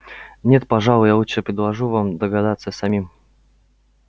нет пожалуй я лучше предложу вам догадаться самим